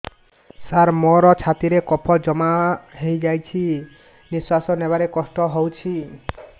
ସାର ମୋର ଛାତି ରେ କଫ ଜମା ହେଇଯାଇଛି ନିଶ୍ୱାସ ନେବାରେ କଷ୍ଟ ହଉଛି